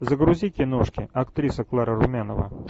загрузи киношки актриса клара румянова